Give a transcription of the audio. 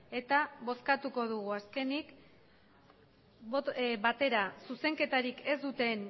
eta bozkatuko dugu azkenik batera zuzenketarik ez duten